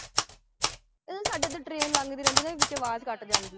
ਸਾਡੇ ਇਥੇ train ਲੰਗਦੀ ਰਹਿੰਦੀ ਹੈ ਵਿਚ ਆਵਾਜ਼ ਕਟ ਜਾਂਦੀ।